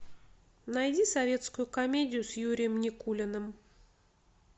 найди советскую комедию с юрием никулиным